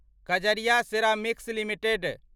Kajaria ceramics limited